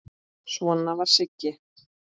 Svona var Siggi.